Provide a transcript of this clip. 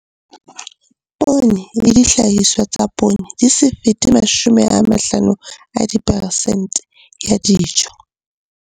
Poone le dihlahiswa tsa poone di se fete 50 ya diperesente ya dijo.